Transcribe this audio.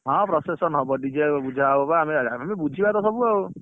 ହଁ procession ହବ dj ବୁଝା ହବ ବା ଆମେ ତ ବୁଝିବା ତ ସବୁ ଆଉ